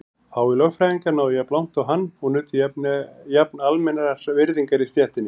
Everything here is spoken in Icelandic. Fáir lögfræðingar náðu jafn langt og hann og nutu jafn almennrar virðingar í stéttinni.